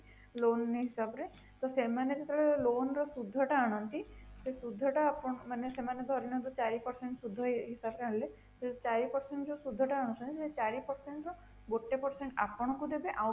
loan ହିସାବ ରେ ତ ସେମାନେ ଯେତେବେଳେ loan ର ସୁଧ ଟା ଆଣନ୍ତି ସେଇ ସୁଧ ଟା ମାନେ ସେମାନେ ଧରିନିଅନ୍ତୁ ଚାରି percent ସୁଧ ହିସାବ ରେ ଆଣିଲେ ସେଇ ଚାରି percent ସୁଧ ଟା ଯୋଉ ଆଣୁଛନ୍ତି ସେଇ ଚାରି percent ର ଗୋଟେ percent ଆପଣଙ୍କୁ ଦେବେ